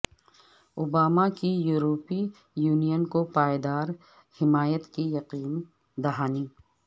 Obama کی یورپی Union کو پائیدار حمایت کی یقین دہانی